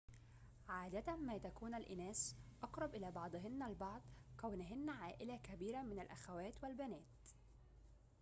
عادة ما تكون الإناث أقرب إلى بعضهن البعض كونهنّ عائلة كبيرة من الأخوات والبنات